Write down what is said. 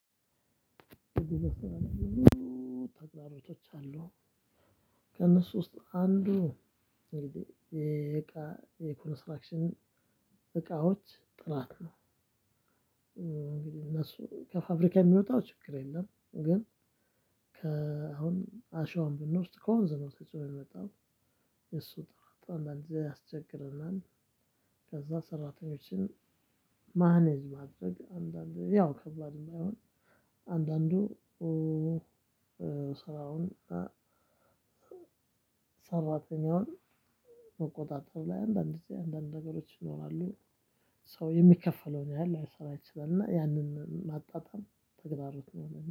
ተግባራቶች አሉ ከነሱ ውስጥ አንዱ እንግዲህ የእቃ የኮንስትራክሽን እቃዎች ጥራት ነው። እንግዲህ እነሱ ከፋብሪካ የሚወጣው ችግር የለም ግን። ከአሁን አሸዋን ብንውስድ ከወንዝ ነው ተጭኖ ሚመጣው የእሱ ጥራት አንዳንድ ጊዜ ያስቸግረናል። ከዛ ሰራተኞችን ማኔጅ ማድረግ አንዳንዴ ያው ከባድም ባይሆን። አንዳንዱ ስራውን ሰራተኛውን መቆጣጠር ላይ አንዳንድ ጊዜ አንዳንድ ነገሮች ይኖራሉ። ሰው የሚከፈለውን ያህል ላይሰራ ይችላል እና ያንን ማጣጣም ተግዳሮት ነው